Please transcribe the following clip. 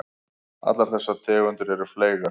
Allar þessar tegundir eru fleygar.